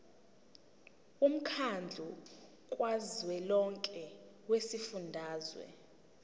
womkhandlu kazwelonke wezifundazwe